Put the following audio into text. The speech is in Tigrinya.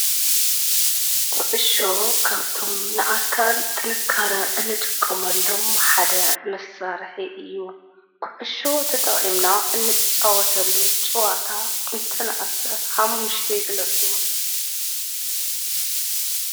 ኩዕሶ ካብቶም ንኣካል ጥንካረ እንጥቀመሎም ሓደ መሳርሒ እዩ፡፡ ኩዕሶ ተጠቒምና እንፃወተሉ ፀዋታ እንተነኣሰ 5+ ይግለፁ?